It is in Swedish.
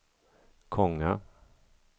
Konga